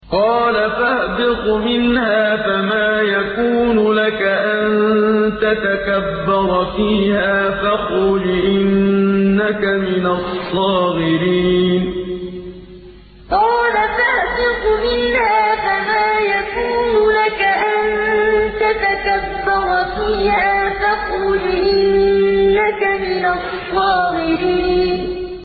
قَالَ فَاهْبِطْ مِنْهَا فَمَا يَكُونُ لَكَ أَن تَتَكَبَّرَ فِيهَا فَاخْرُجْ إِنَّكَ مِنَ الصَّاغِرِينَ قَالَ فَاهْبِطْ مِنْهَا فَمَا يَكُونُ لَكَ أَن تَتَكَبَّرَ فِيهَا فَاخْرُجْ إِنَّكَ مِنَ الصَّاغِرِينَ